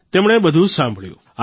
તેમણે બધું સાંભળ્યું